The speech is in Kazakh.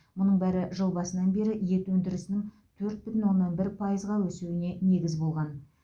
мұның бәрі жыл басынан бері ет өндірісінің төрт бүтін оннан бір пайызға өсуіне негіз болған